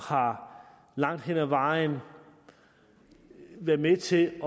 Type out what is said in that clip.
har langt hen ad vejen været med til